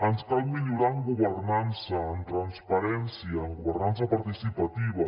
ens cal millorar en governança en transparència en governança participativa